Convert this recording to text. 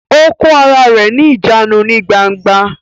Ó kó ara rẹ ní ìjánu ní gbangba